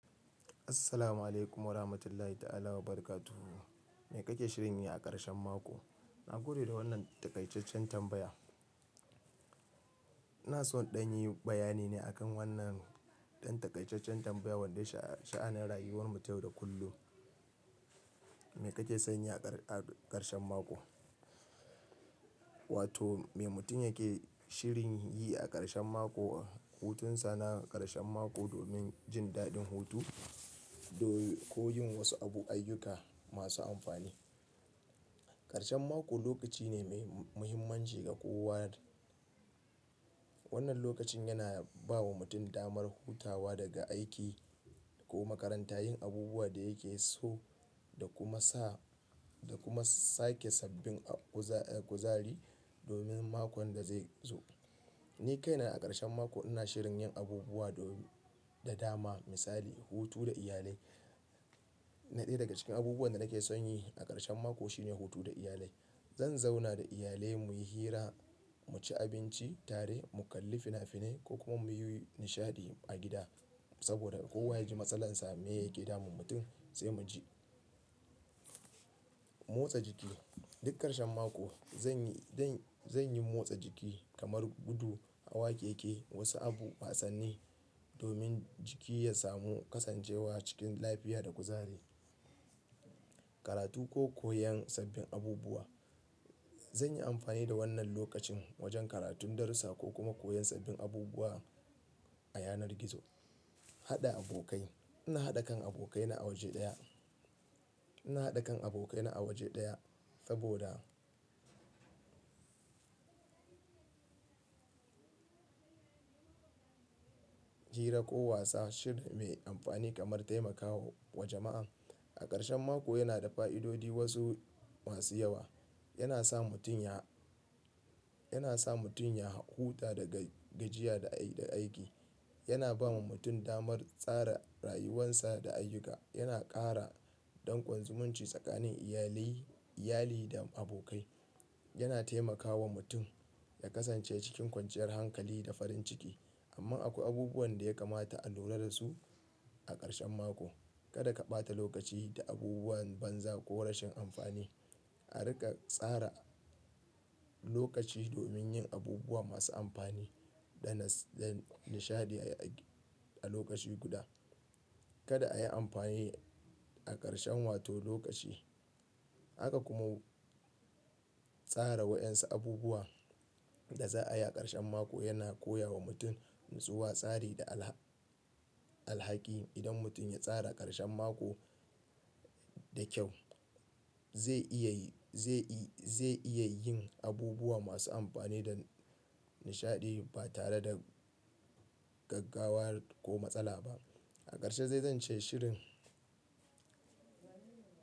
Assalamu alaikum wa rahmatullahi ta'ala wa barakatu. Me kake shirin yi a ƙarshen mako? Na gode da wannan taƙaiceccen tambaya. Na so in ɗanyi bayani ne akan wannan ɗan taƙaiceccen tambaya wanda sha'anan rayuwar mu ta yau da kullum. Me kake son yi a ƙar-ƙarshen mako? Wato me mutum yake shirin yi a ƙarshen mako ko hutun sa na ƙarshen mako domin jin daɗin hutu do ko yin wasu abu ayyuka masu amfani. Ƙarshen mako lokaci ne mai muhimmanci ga kowa. Wannan lokacin yana bawa mutum damar hutawa daga aiki ko makaranta, yin abubuwa da yake so da kuma sa-- da kuma sake sabbin a guz-guzari domin makon da zai zo. Ni kaina a ƙarshen mako ina shirin yin abubuwa da da dama misali hutu da iyalai. Na ɗai daga cikin abubuwan da nake son yi a ƙarshen mako shine hutu da iyalai. Zan zauna da iyalai muyi hira, mu ci abinci tare, mu kalli fina-fine ko kuma muyi nishaɗi a gida. Saboda kowa yaji matsalarsa me yake damun mutum sai mu ji. Motsa jiki duk ƙarshen mako zanyi-zanyi motsa jiki kamar gudu a wakeke wasu abu, wasanni domin jiki ya samu kasancewa cikin lafiya da kuzari. Karatu ko koyan sabbin abubuwa. Zanyi amfani da wannan lokacin wajen karatun darussa ko kuma koyan sabbin abubuwa a yanar gizo. Haɗa abokai. Ina haɗa kan abokaina a waje ɗaya. Ina haɗa kan abokaina a waje ɗaya saboda hira ko wasa shiri me amfani kamar taimakawa jama'a. A ƙarshen mako yana da fa'idodi wasu masu yawa. Yana sa mutum ya, yana sa mutum ya huta daga gajiya da da aiki. Yana bawa mutum damar tsara rayuwansa da ayyuka. Yana ƙara ɗan kwan zumunci tsakanin iyalai, iyali da abokai. Yana taimakawa mutum ya kasance cikin kwanciyar hankali da farin ciki. Amma akwai abubuwan da ya kamata a lura da su a ƙarshen mako. Kada ka ɓata lokaci da abubuwan banza ko rashin amfani. A riƙa tsara lokaci domin yin abubuwa masu amfani da nishaɗi a lokaci guda. Kada a yi amfani a ƙarshen wato lokaci. Haka kuma tsara wayansu abubuwa da za'a yi a ƙarshen mako yana koya wa mutum natsuwa, tsari da alha-alhaki. Idan mutum ya tsara ƙarshen mako da kyau zai iya yi, zai i, zai iya yin abubuwa masu amfani da nishaɗi ba tare da gaggawa ko matsala ba. A ƙarshe zai zance shirin.